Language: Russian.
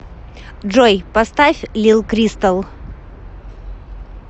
джой поставь лил кристал